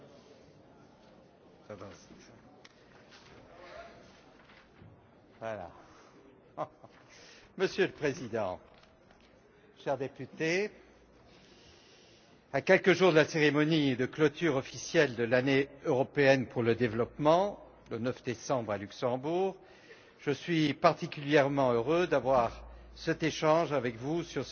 Monsieur le Président, chers parlementaires, à quelques jours de la cérémonie de clôture officielle de l'Année européenne pour le développement, le 9 décembre à Luxembourg, je suis particulièrement heureux d'avoir cet échange avec vous sur cet exemple d'excellente collaboration avec les institutions européennes, impliquant